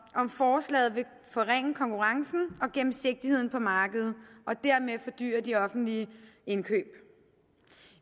om forslaget vil forringe konkurrencen og gennemsigtigheden på markedet og dermed fordyre de offentlige indkøb